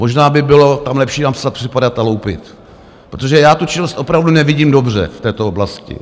Možná by bylo tam lepší napsat Přepadat a loupit, protože já tu činnost opravdu nevidím dobře v této oblasti.